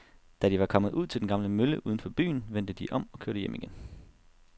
Da de var kommet ud til den gamle mølle uden for byen, vendte de om og kørte hjem igen.